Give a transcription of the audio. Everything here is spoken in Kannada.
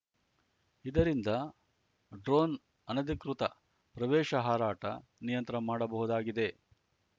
ಇದರಿಂದ ಡ್ರೋನ್‌ ಅನಧಿಕೃತ ಪ್ರವೇಶ ಹಾರಾಟ ನಿಯಂತ್ರ ಮಾಡಬಹುದಾಗಿದೆ